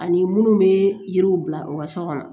Ani minnu bɛ yiriw bila u ka so kɔnɔ